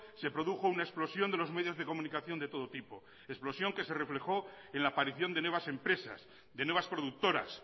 se produjo una explosión de los medios de comunicación de todo tipo explosión que se reflejó en la aparición de nuevas empresas de nuevas productoras